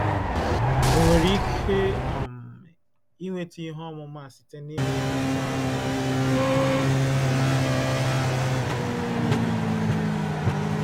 Enwere ike um inweta ihe ọmụma a site n’ịmụ akwụkwọ ahụ um mgbe um niile.